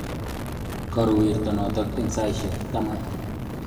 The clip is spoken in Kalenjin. Karuu werto notok eng saishek taman